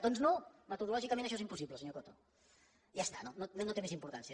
doncs no metodològicament això és impossible senyor cotoja està no té més importància